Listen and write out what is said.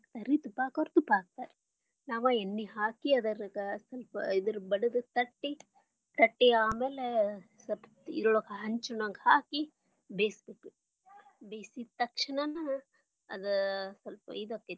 ಹಾಕತರರಿ ತುಪ್ಪ ಹಾಕೋರ ತುಪ್ಪಾ ಹಾಕ್ತಾರಾ ನಾವ ಎಣ್ಣಿ ಹಾಕಿ ಅದ್ರಾಗ ಸ್ವಲ್ಪ ಇದರ ಬಡದ ತಟ್ಟಿ ಆಮ್ಯಾಲೆ ಸ್ವಲ್ಪ ಹಂಚನೊಳಗ ಹಾಕಿ ಬೇಯಿಸಬೇಕ ಬೇಯಿಸಿದ ತಕ್ಷಣ ಅದ ಸ್ವಲ್ಪ ಇದು ಆಕ್ಕೆತಿ.